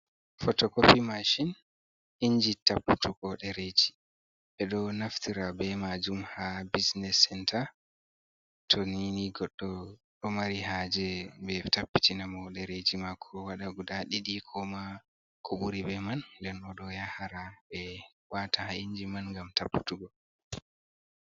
Potokopi maashin inji tapputugo ɗereji ɓeɗo naftira be maajum ha bisiness siness center to nini goddo do mari ha je be tapbitina mo dereji mako wada guda didi koma ko buri be man nden odo yahara be wata ha inji man gam tapputugo